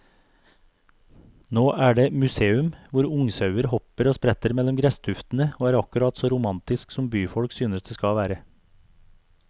Nå er det museum, hvor ungsauer hopper og spretter mellom gresstuftene og er akkurat så romantisk som byfolk synes det skal være.